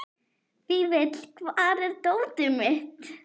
Fífill, hvar er dótið mitt?